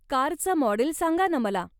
कारचं मॉडेल सांगा ना मला.